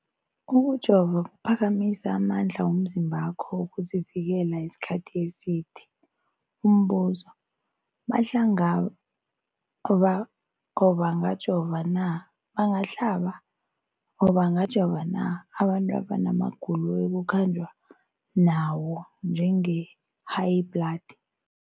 Ukujova kuphakamisa amandla womzimbakho wokuzivikela isikhathi eside. Umbuzo, bangahlaba or bangajova na abantu abana magulo ekukhanjwa nawo, njengehayibhladi?